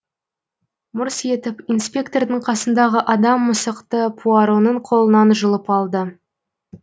мырс етіп инспектордың қасындағы адам мысықты пуароның қолынан жұлып алды